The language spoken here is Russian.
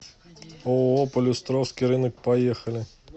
ооо полюстровский рынок поехали